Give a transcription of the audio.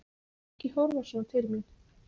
Og ekki horfa svona til mín!